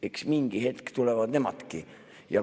Eks mingi hetk tulevad nemadki.